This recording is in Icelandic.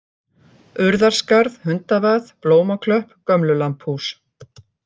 Urðarskarð, Hundavað, Blómaklöpp, Gömlulambhús